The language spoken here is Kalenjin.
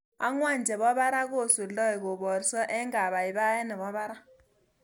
Angwan chebo barak kusoldai koborso eng kabaibaet nebo barak